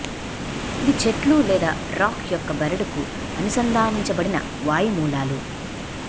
ఇది చెట్లు లేదా రాక్ యొక్క బెరడుకు అనుసంధానించబడిన వాయు మూలాలు